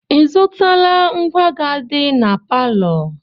Ị zụtala ngwá ga-adị na palọ?